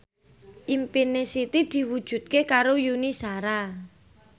impine Siti diwujudke karo Yuni Shara